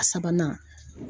A sabanan